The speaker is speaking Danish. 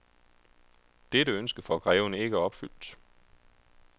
Dette ønske får greven ikke opfyldt.